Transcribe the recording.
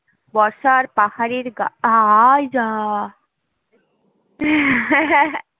বর্ষার পাহাড়ের গা আই যাহ